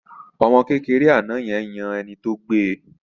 Ọmọ kékeré àná yẹn yan ẹni tó gbe